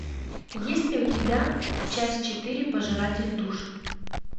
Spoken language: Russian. есть ли у тебя часть четыре пожиратель душ